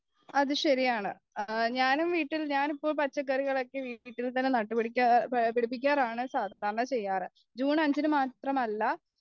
അത് ശെരിയാണ് ഞാനും വീട്ടിൽ ഞാൻ പച്ചക്കറികളൊക്കെ വീട്ടിൽ നട്ടുപിടിക്കാറാണ് സാധാരണ ചെയ്യാറ് ജൂൺ അഞ്ചിനു മാത്രമല്ല